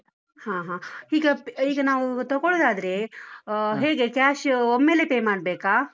ಹಾ ಹಾ, ಈಗ ಈಗ ನಾವು ತಕೊಳೋದಾದ್ರೆ ಆ ಹೇಗೆ cash ಒಮ್ಮೆಲೆ pay ಮಾಡ್ಬೇಕಾ?